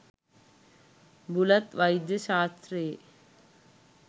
බුලත් වෛද්‍ය ශ්‍රාස්ත්‍රයේ